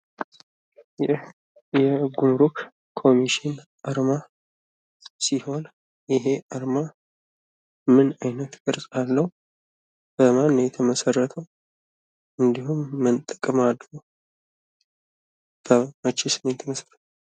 ይህ የጉሙሩክ ኮሚሽን አርማ ሲሆን ይህ አርማ ምን አይነት ቅርጽ አለወ? በማን ነው የተመሰረተው እንዲሁም ምን ጥቅም አለው? መቼስ ነው የተመሰረተዉ?